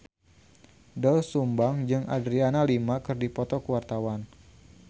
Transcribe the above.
Doel Sumbang jeung Adriana Lima keur dipoto ku wartawan